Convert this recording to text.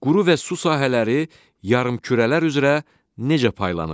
Quru və su sahələri yarımkürələr üzrə necə paylanıb?